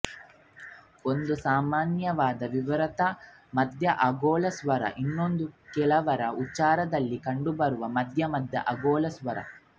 ಒಂದು ಸಾಮಾನ್ಯವಾದ ವಿವೃತ ಮಧ್ಯ ಅಗೋಲ ಸ್ವರ ಇನ್ನೊಂದು ಕೆಲವರ ಉಚ್ಚಾರದಲ್ಲಿ ಕಂಡುಬರುವ ಮಧ್ಯ ಮಧ್ಯ ಅಗೋಲ ಸ್ವರ